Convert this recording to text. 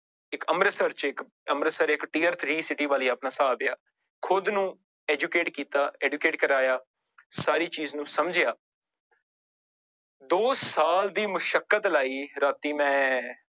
ਇੱਕ ਅੰਮ੍ਰਿਤਸਰ ਚ ਇੱਕ ਅੰਮ੍ਰਿਤਸਰ ਇੱਕ tier three city ਵਾਲੀ ਆਪਣਾ ਹਿਸਾਬ ਆ, ਖੁੁੱਦ ਨੂੰ educate ਕੀਤਾ educate ਕਰਵਾਇਆ ਸਾਰੀ ਚੀਜ਼ ਨੂੰ ਸਮਝਿਆ ਦੋ ਸਾਲ ਦੀ ਮੁਸ਼ਕਤ ਲਾਈ ਰਾਤੀ ਮੈਂ